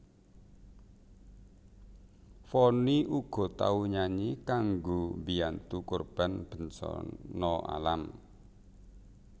Vonny uga tau nyanyi kanggo mbiyantu korban bencana alam